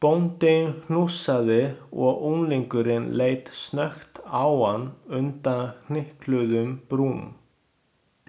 Bóndinn hnussaði og unglingurinn leit snöggt á hann undan hnykluðum brúm.